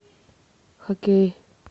хоккей